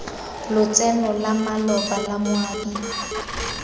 lotseno la maloba la moabi